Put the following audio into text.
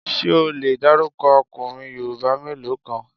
Ṣé o le dárúkọ ọkùnrin Yorùbá mélòó kan?